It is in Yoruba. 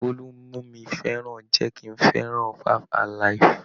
Bólú mú mi fẹ́ràn jẹ́ kí n fẹ́ràn 5-alive.